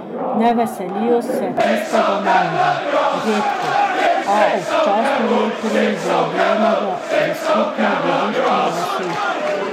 Ne veselijo se tistega malega, redko, a občasno le pridobljenega za skupno dediščino vasi.